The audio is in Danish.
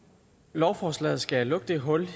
lovforslaget skal lukke det hul